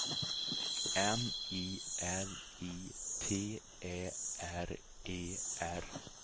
M I L I T Ä R E R